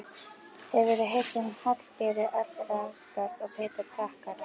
Hefurðu heyrt um Hallberu allragagn og Pétur prakkara?